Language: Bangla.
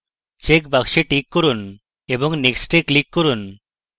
check বক্সটিতে check করুন এবং next click করুন